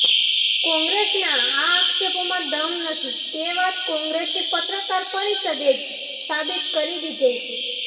કોંગ્રેસના આ આક્ષેપોમાં દમ નથી તે વાત કોંગ્રેસની પત્રકાર પરિષદે જ સાબિત કરી દીધેલ છે